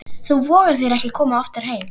Þú vogar þér ekki að koma oftar heim!